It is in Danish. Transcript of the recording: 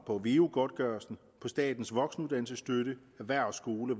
på veu godtgørelsen statens voksenuddannelsesstøtte erhvervsskoler